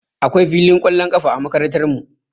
Akwai filin ƙwallon ƙafa a Makarantarmu